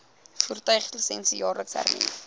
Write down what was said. voertuiglisensie jaarliks hernu